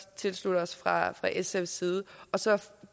tilslutte os fra sfs side så